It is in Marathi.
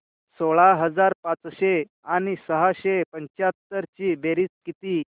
सोळा हजार पाचशे आणि सहाशे पंच्याहत्तर ची बेरीज किती